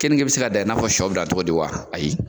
Keninge bɛ se ka dan i n'a fɔ sɔ bɛ se ka dan cogo di wa ayi